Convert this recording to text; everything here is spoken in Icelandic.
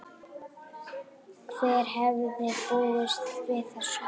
Hver hefði búist við þessu??